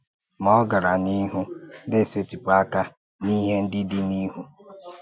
Ma ọ̀ gàrà n’ihu “na-esètịpù àkà n’íhè ndị dị̀ n’ihu.